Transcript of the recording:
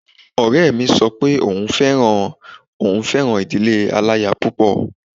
Ọ̀rẹ́ mi sọ pé òun fẹ́ràn òun fẹ́ràn ìdílé aláya púpọ̀